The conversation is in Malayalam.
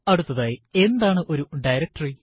അടുത്തതായി എന്താണ് ഒരു ഡയറക്ടറി